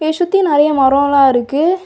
சுத்தி சுத்தி நிறைய மரம் எல்லாம் இருக்கு.